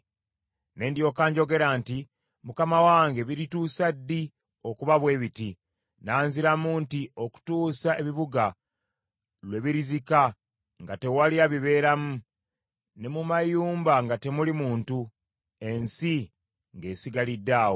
Ne ndyoka njogera nti, “Mukama wange birituusa ddi okuba bwe biti?” Nanziramu nti, “Okutuusa ebibuga lwe birizika nga tewali abibeeramu, ne mu mayumba nga temuli muntu, ensi ng’esigalidde awo,